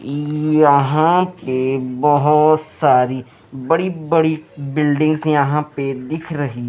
यहां पे बहुत सारी बड़ी बड़ी बिल्डिंगस यहां पे दिख रही--